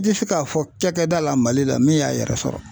N tɛ se k'a fɔ cakɛda la Mali la min y'a yɛrɛ sɔrɔ .